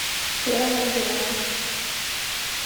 серому белову